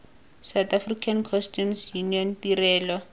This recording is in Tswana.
south african customs union tirelo